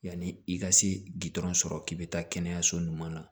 Yanni i ka se gdɔrɔn sɔrɔ k'i bɛ taa kɛnɛyaso ɲuman na